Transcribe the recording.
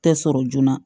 Tɛ sɔrɔ joona